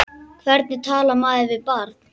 Hvernig talar maður við barn?